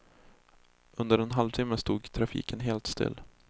Under en halvtimme stod trafiken helt still.